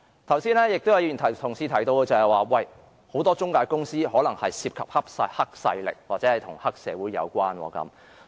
剛才有議員提到很多中介公司可能涉及黑勢力或與黑社會有關。